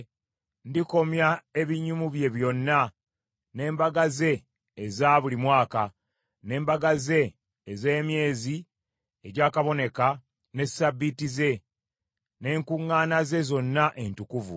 Ndikomya ebinyumu bye byonna, n’embaga ze eza buli mwaka, n’embaga ze ez’emyezi egyakaboneka, ne ssabbiiti ze, n’enkuŋŋaana ze zonna entukuvu.